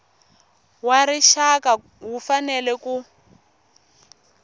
wa rixaka wu fanele ku